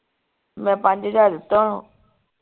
ਮੈਂ ਪੰਜ ਹਜਾਰ ਦਿਤੇ ਓਹਨੂੰ